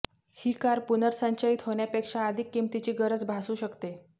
ही car पुनर्संचयित होण्यापेक्षा अधिक किमतीची गरज भासू शकते